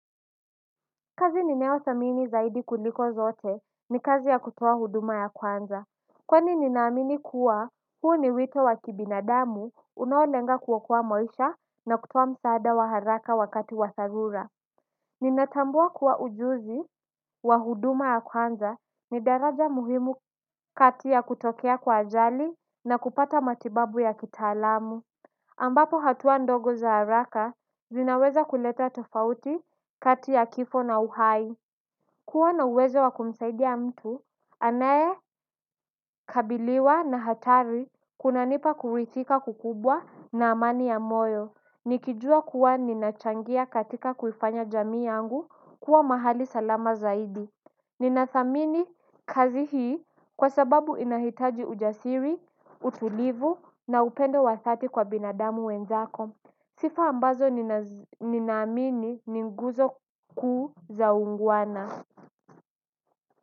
Kazi ninayo dhamini zaidi kuliko zote ni kazi ya kutuo huduma ya kwanza. Kwani ninaamini kuwa huo ni wito wa kibinadamu unaolenga kuokoa maisha na kutuo msaada wa haraka wakati wa sarula. Ninatambua kuwa ujuzi wa huduma ya kwanza ni daraja muhimu kati ya kutokea kwa ajali na kupata matibabu ya kitaalamu ambapo hatua ndogo za haraka zinaweza kuleta tofauti kati ya kifo na uhai. Kuwa na uwezo wa kumsaidia mtu, anayekabiliwa na hatari kunanipa kuridhika kukubwa na amani ya moyo. Nikijua kuwa ninachangia katika kuifanya jamii yangu kuwa mahali salama zaidi. Ninathamini kazi hii kwa sababu inahitaji ujasiri, utulivu na upendo wa dhati kwa binadamu wenzako. Sifa ambazo ninamini ninguzo kuu zaungwana.